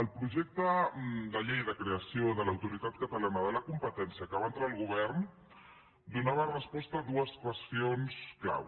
el projecte de llei de creació de l’autoritat catalana de la competència que va entrar el govern donava resposta a dues qüestions clau